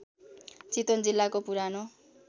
चितवन जिल्लाको पुरानो